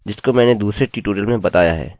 अन्य केवल स्टैन्डर्ड हैं